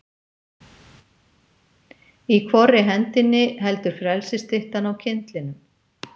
Í hvorri hendinni heldur frelsisstyttan á kyndlinum?